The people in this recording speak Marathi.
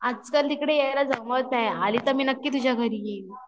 आजकाल इकडे यायला जमत नाही आली तर मी नक्की तुझ्या घरी येईल